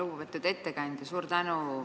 Lugupeetud ettekandja!